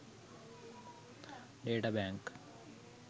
data bank